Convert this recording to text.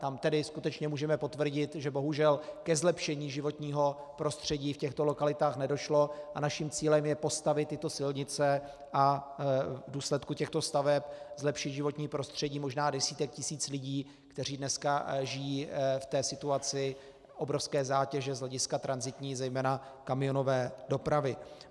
Tam tedy skutečně můžeme potvrdit, že bohužel ke zlepšení životního prostředí v těchto lokalitách nedošlo, a naším cílem je postavit tyto silnice a v důsledku těchto staveb zlepšit životní prostředí možná desítek tisíc lidí, kteří dneska žijí v té situaci obrovské zátěže z hlediska tranzitní, zejména kamionové dopravy.